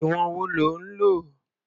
Ìwọ̀n wo lo lò?